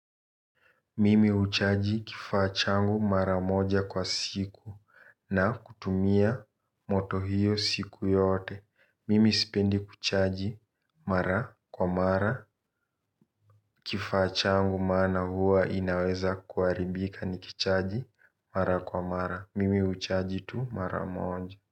Mimi uchaji kifaachangu mara moja kwa siku na kutumia moto hiyo siku yote. Mimi sipendi kuchaji mara kwa mara kifaachangu maana huwa inaweza kuaribika ni kichaji mara kwa mara. Mimi uchaji tu mara moja.